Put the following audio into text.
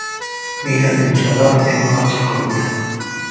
Minglab insonlar evakuatsiya qilindi.